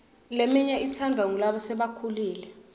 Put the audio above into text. leminye itsandvwa ngulasebakhulile